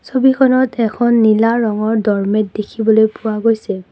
ছবিখনত এখন নীলা ৰঙৰ ড'ৰমেট দেখিবলৈ পোৱা গৈছে।